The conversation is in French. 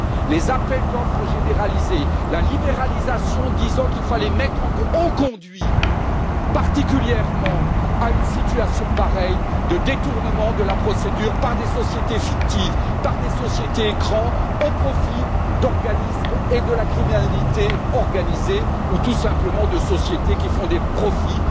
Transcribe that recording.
Les appels d'offres généralisés, la libéralisation selon laquelle il fallait mettre en concurrence ont particulièrement conduit à pareille situation de détournement de la procédure par des sociétés fictives, par des sociétés écrans au profit d'organismes et de la criminalité organisée ou, tout simplement, de sociétés qui font des profits